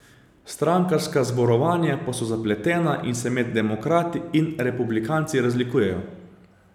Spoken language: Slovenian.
Strankarska zborovanja pa so zapletena in se med demokrati in republikanci razlikujejo.